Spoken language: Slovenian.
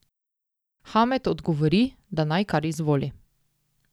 Hamed odgovori, da naj kar izvoli.